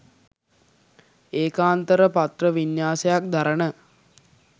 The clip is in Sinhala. ඒකාන්තර පත්‍ර වින්‍යාසයක් දරන